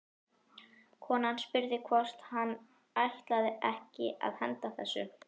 Konan spurði hvort hann ætlaði ekki að henda þessu.